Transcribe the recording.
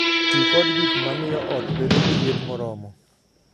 Ti kod gik ma miyo ot bedo gi liet moromo